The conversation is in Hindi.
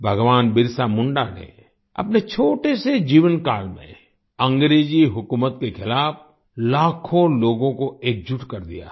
भगवान बिरसा मुंडा ने अपने छोटे से जीवन काल में अंग्रेजी हुकूमत के खिलाफ लाखों लोगों को एकजुट कर दिया था